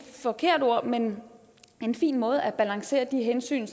forkert ord men en fin måde at balancere de hensyn